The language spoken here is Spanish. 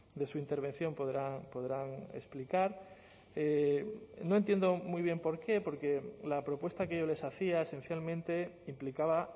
de su intervención podrán explicar no entiendo muy bien por qué porque la propuesta que yo les hacía esencialmente implicaba